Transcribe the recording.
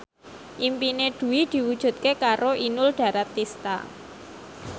impine Dwi diwujudke karo Inul Daratista